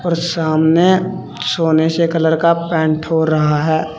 और सामने सोने से कलर का पेंट हो रहा है।